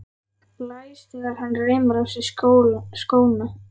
Blæs þegar hann reimar á sig skóna.